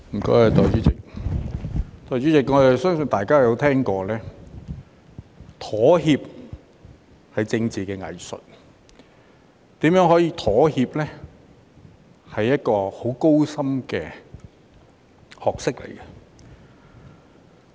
代理主席，我相信大家也聽過妥協是政治的藝術，如何妥協是很高深的學問。